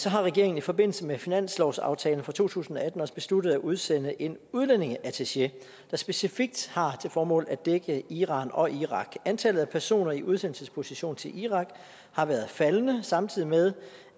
har regeringen i forbindelse med finanslovsaftalen for to tusind og atten også besluttet at udsende en udlændingeattaché der specifikt har til formål at dække iran og irak antallet af personer i udsendelsesposition til irak har været faldende samtidig med